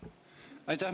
Aitäh!